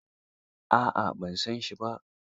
A'a ban san shi ba.